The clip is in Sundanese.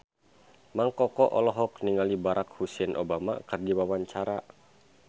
Mang Koko olohok ningali Barack Hussein Obama keur diwawancara